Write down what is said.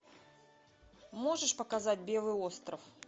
можешь показать белый остров